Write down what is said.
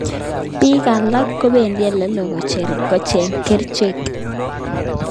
Piik alak kopendi olelo kocheng'ei kerichek